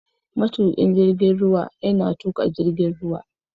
Matukin jirgin ruwa yana tuka jirgin ruwa.